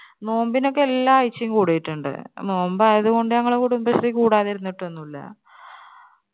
നോമ്പിനൊക്കെ എല്ലാ ആഴ്ചയും കൂടിയിട്ടുണ്ട്. നോമ്പ് ആയത് കൊണ്ട് ഞങ്ങള് കുടുംബശ്രീ കൂടാതിരുന്നിട്ടൊന്നുല്ല